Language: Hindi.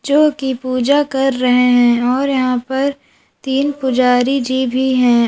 जो कि पूजा कर रहे हैं और यहां पर तीन पुजारी जी भी हैं।